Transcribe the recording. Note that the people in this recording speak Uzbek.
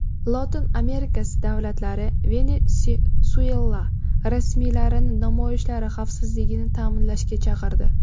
Lotin Amerikasi davlatlari Venesuela rasmiylarini namoyishlar xavfsizligini ta’minlashga chaqirdi.